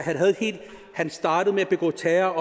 han startede med at begå terror